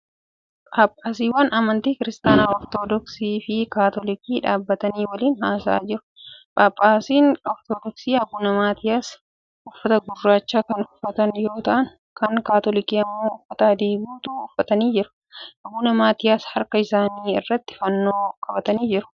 Phaaphaasiiwwan amantii kiristaanaa Ortoodoksii fi kaatoolikii dhaabbatanii waliin haasa'aa jiru. Phaaphaasiin Ortoodoksii Abuna Maatiyaas uffata gurraacha kan uffatan yoo ta'an kan kaatoolikii immoo uffata adii guutuu uffatanii jiru. Abuna Maatiyaas harka isaanii irratti fannoo baatanii jiru.